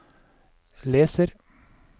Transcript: leser